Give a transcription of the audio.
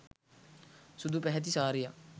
සුදු පැහැති සාරියක්.